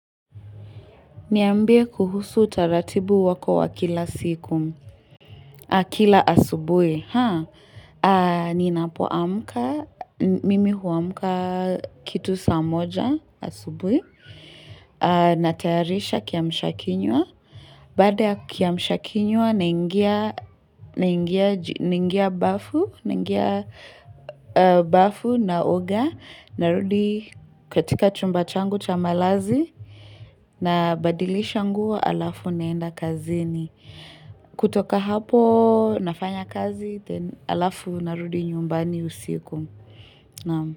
Niambie kuhusu utaratibu wako wa siku.wa kila asubui. Ni napoamka, mimi huamka kitu saamoja asubui. Natayarisha kiamshakinywa. Baada ya kiamshakinywa, nangia bafu bafu na oga. Narudi katika chumba changu cha malazi na badilisha nguo alafu naenda kazini. Kutoka hapo nafanya kazi, alafu narudi nyumbani usiku.